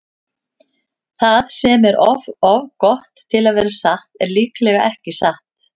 Það sem er of gott til að vera satt er líklega ekki satt.